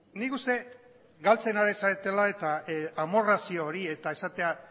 nik uste galtzen ari zaretela eta amorrazio hori eta esatea